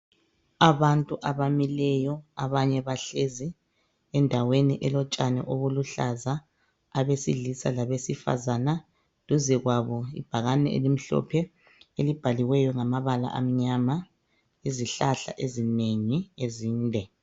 Abantu abamileyo abanye bahlezi endaweni elotshani olubuhlaza, abesilisa labesifazana, duze kwabo kule bhakane elimhlophe elibhaliweyo ngamabala amnyama, izihlahla ezinengi ezinde.